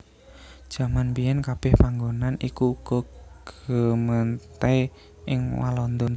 Jaman mbiyèn kabèh panggonan iku uga gemeente ing Walanda